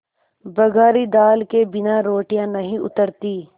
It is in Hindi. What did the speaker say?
बघारी दाल के बिना रोटियाँ नहीं उतरतीं